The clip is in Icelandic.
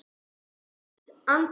Fínt andlit?